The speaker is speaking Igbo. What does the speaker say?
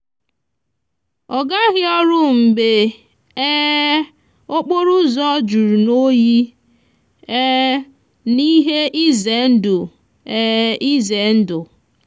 ọ gaghị ọrụ mgbe um okporoụzọ juru n'oyi um na ihe ize ndụ. ize ndụ.